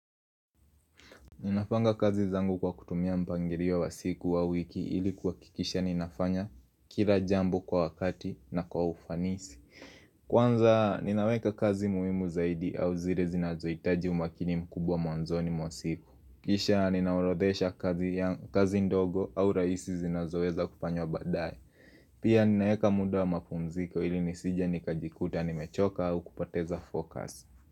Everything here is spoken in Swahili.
Ninapanga kazi zangu kwa kutumia mpangilio wa siku au wiki ilikuakikisha ninafanya kila jambo kwa wakati na kwa ufanisi. Kwanza ninaweka kazi muimu zaidi au zile zinazoitaji umakini mkubwa mwanzoni mwa siku. Kisha ninahorodhesha kazi ndogo au raisi zinazoeza kufanywa baadae. Pia ninaeka muda wa mapumziko ili nisije nikajikuta nimechoka au kupoteza focus.